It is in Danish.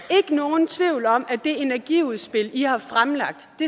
nogen tvivl om at det energiudspil i har fremlagt